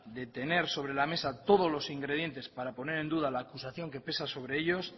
de tener sobre la mesa todos los ingredientes para poner en duda la acusación sobre ellos